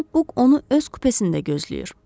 Cənab Buk onu öz kupesində gözləyir.